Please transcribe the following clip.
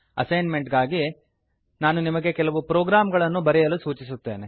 assign made ಗಾಗಿ ನಾನು ನಿಮಗೆ ಕೆಲವು ಪ್ರೋಗ್ರಾಂಗಳನ್ನು ಬರೆಯಲು ಸೂಚಿಸುತ್ತೇನೆ